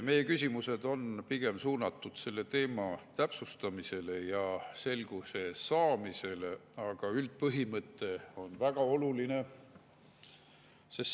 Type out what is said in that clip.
Meie küsimused on pigem suunatud selle teema täpsustamisele ja selguse saamisele, aga üldpõhimõte on väga oluline.